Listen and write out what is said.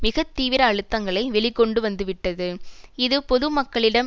மிக தீவிர அழுத்தங்களை வெளி கொண்டு வந்துவிட்டது இது பொதுமக்களிடம்